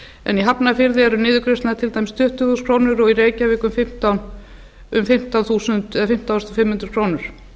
en í hafnarfirði eru niðurgreiðslurnar til dæmis tuttugu þúsund krónur og í reykjavík um fimmtán þúsund fimm hundruð krónur